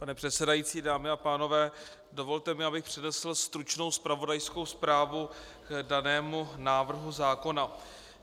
Pane předsedající, dámy a pánové, dovolte mi, abych přednesl stručnou zpravodajskou zprávu k danému návrhu zákona.